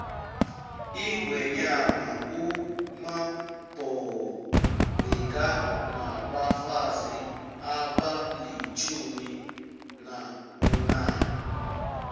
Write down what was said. ingwenyama umabhoko bekanabafazi abalitjumi nabunane